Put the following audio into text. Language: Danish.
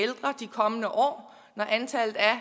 kommende år når antallet af